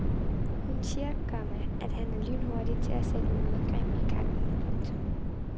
Hun siger, komma at han er lynhurtig til at sætte et modangreb i gang. punktum